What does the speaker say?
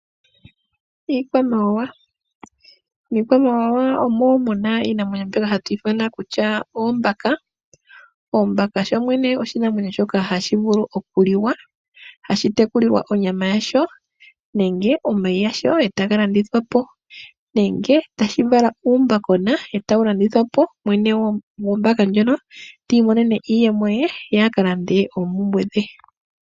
Iikwamawa. Miikwamawawa omo muna iinamwenyo mbyoka hatu ithana kutya oombaka. Oombaka sho shene oshinamwenyo shoka hashi vulu okuliwa, hashi tekulilwa onyama yasho nwmge omayi gasho etaga landithwapo ,nenge tashi vala uumbaka uushona etawu landithwapo mwene gwombaka ndjono ti imonene iiyemo ye aka lande oompumbwe dhe.